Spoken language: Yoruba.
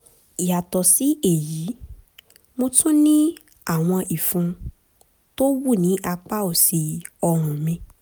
yàtọ̀ sí èyí mo tún ní àwọn ìfun tó wú ní apá òsì ọrùn mi